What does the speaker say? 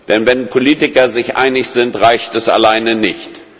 Denn wenn Politiker sich einig sind, reicht das alleine nicht.